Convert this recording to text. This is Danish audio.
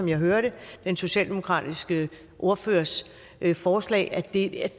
jeg hørte den socialdemokratiske ordførers forslag at det